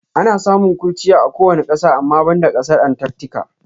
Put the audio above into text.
Ana samun kurchiya a kowane ƙasa ama banda ƙasar Antatika.